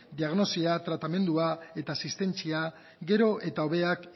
diagnosia tratamendua eta asistentziak gero eta hobeak